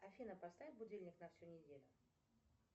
афина поставь будильник на всю неделю